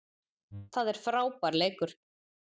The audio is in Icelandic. Það er frábær leikur.